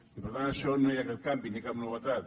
i per tant en això no hi ha cap canvi ni cap novetat